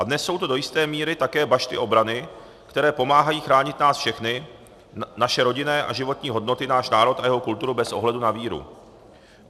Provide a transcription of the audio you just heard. A dnes jsou to do jisté míry také bašty obrany, které pomáhají chránit nás všechny, naše rodinné a životní hodnoty, náš národ a jeho kulturu bez ohledu na víru.